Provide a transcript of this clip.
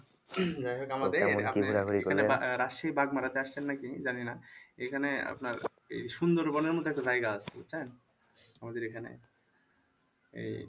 যাই হোক আমাদের রাশিয়ার বাঘমারা তে আসছেন নাকি জানি না এইখানে আপনার এই সুন্দর বনের মত একটা জায়গা আছে হ্যাঁ আমাদের এখানে এই